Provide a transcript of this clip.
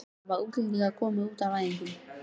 Hvernig hafa útlendingarnir komið út á æfingum?